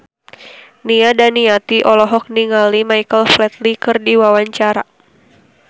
Nia Daniati olohok ningali Michael Flatley keur diwawancara